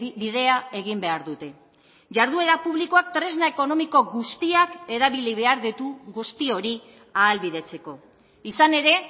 bidea egin behar dute jarduera publikoak tresna ekonomiko guztiak erabili behar ditu guzti hori ahalbidetzeko izan ere